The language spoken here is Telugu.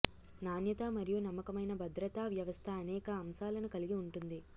నాణ్యత మరియు నమ్మకమైన భద్రతా వ్యవస్థ అనేక అంశాలను కలిగి ఉంటుంది